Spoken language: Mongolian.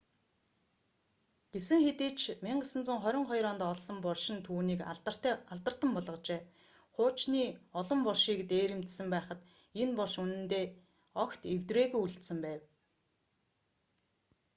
гэсэн хэдий ч 1922 онд олсон булш нь түүнийг алдартан болгожээ хуучны олон булшийг дээрэмдсэн байхад энэ булш үнэндээ огт эвдрээгүй үлдсэн байв